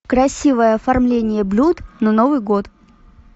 красивое оформление блюд на новый год